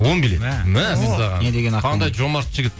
он билет мәссаған қандай жомарт жігіт